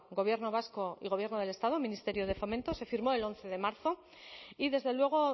gobierno vasco y el gobierno del estado el ministerio de fomento se firmó el once de marzo y desde luego